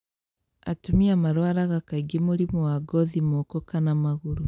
Atumia marwaraga kaingĩ mũrimũ wa ngothi moko kana magũrũ